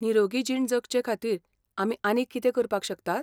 निरोगी जीण जगचेखातीर आमी आनीक कितें करपाक शकतात?